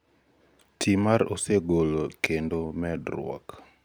FFS Training Manuals-ti mar osogolo kendo medruok